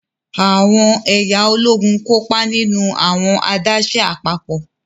Awọn ẹya Ológùn kópa nínú awọn adaṣe apapọ.